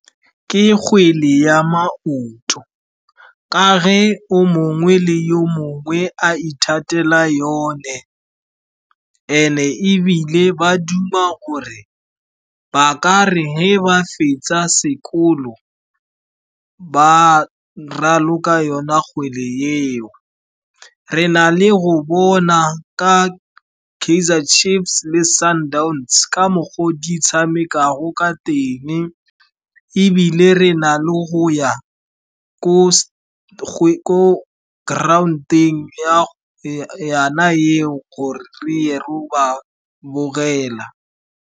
Ke kgwele ya maoto ka ge o mongwe le yo mongwe a ithatela yone and-e ebile ba duma gore ba kare ge ba fetsa sekolo ba raloka yona kgwele eo. Re na le go bona ka Kaizer Chiefs le Sundowns ka mokgwa o di tshamekago ka teng, ebile re na le go ya ko ground-eng ya yona eo gore re ye ro ba bogela.